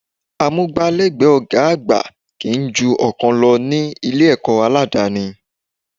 Amúgbálẹ́gbẹ̀ẹ́ ọ̀gá àgbà kì í ju ọ̀kan lọ ní Ilé-ẹ̀kọ́ aládani